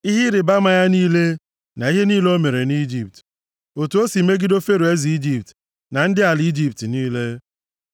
ihe ịrịbama ya niile na ihe niile o mere nʼIjipt, otu o si megide Fero eze Ijipt na ndị ala Ijipt niile.